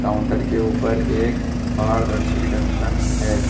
Counter के ऊपर एक पारदर्शी की ढक्कन है।